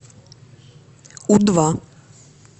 у два